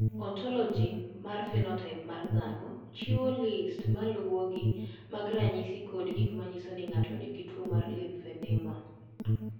"Ontologi mar phenotaip mar dhano chiwo list ma luwogi mag ranyisi kod gik ma nyiso ni ng’ato nigi tuwo mar limfedema."